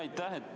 Aitäh!